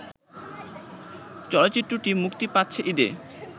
চলচ্চিত্রটি মুক্তি পাচ্ছে ঈদে